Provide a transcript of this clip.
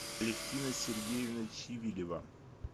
алевтина сергеевна чивилева